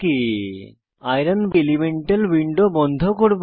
এই iron elemental window বন্ধ করব